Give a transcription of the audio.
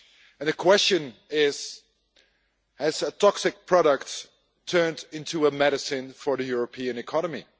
And the question is has a toxic product turned into a medicine for the European economy?